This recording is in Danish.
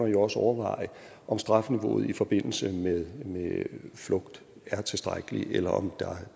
jo også overveje om strafniveauet i forbindelse med flugt er tilstrækkeligt eller om